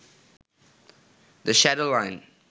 the shadow line